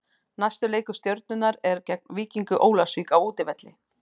Næsti leikur Stjörnunnar er gegn Víkingi Ólafsvík á útivelli.